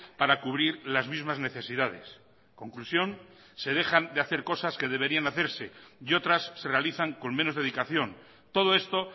para cubrir las mismas necesidades conclusión se dejan de hacer cosas que deberían hacerse y otras se realizan con menos dedicación todo esto